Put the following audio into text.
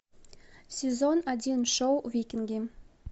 сезон один шоу викинги